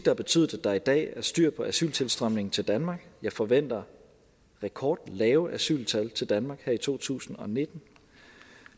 har betydet at der i dag er styr på asyltilstrømningen til danmark jeg forventer rekordlave asyltal til danmark her i to tusind og nitten